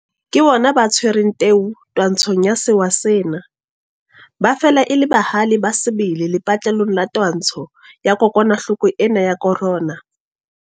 Ke bona ba tshwereng teu twantshong ya sewa sena. Ba fela e le bahale ba sebele lepatlelong la twantsho ya kokwanahloko ena ya corona.